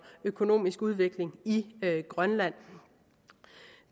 økonomisk udvikling i grønland